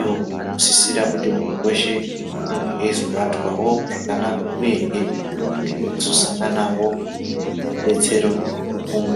Iwo anosisira kuti muntu weshe ange eizobatwawo zvakanaka uyehe ange aizosangana nemubetseri wepfungwa.